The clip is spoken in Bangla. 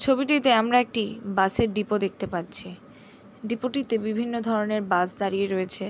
ছবিটিতে আমরা একটি বাস এর ডিপো দেখতে পাচ্ছি ডিপো টিতে বিভিন্ন ধরণের বাস দাঁড়িয়ে রয়েছে।